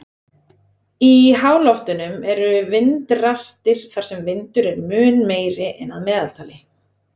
Í háloftunum eru vindrastir þar sem vindur er mun meiri en að meðaltali.